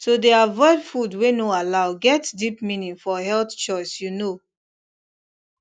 to dey avoid food wey no allow get deep meaning for health choice you know